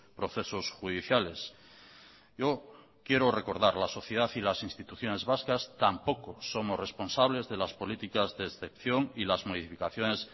procesos judiciales yo quiero recordar la sociedad y las instituciones vascas tampoco somos responsables de las políticas de excepción y las modificaciones